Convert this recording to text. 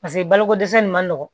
Paseke baloko dɛsɛ in man nɔgɔn